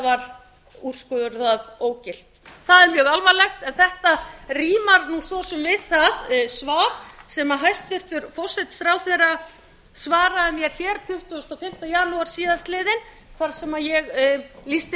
var úrskurðað ógilt það er mjög alvarlegt en þetta rímar nú svo sem við það svar sem hæstvirtur forsætisráðherra svaraði mér hér tuttugasta og fimmta janúar síðastliðinn þar sem ég lýsti